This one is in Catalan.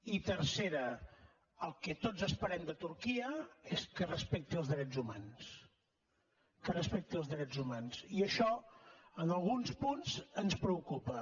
i tercera el que tots esperem de turquia és que respecti els drets humans que respecti els drets humans i això en alguns punts ens preocupa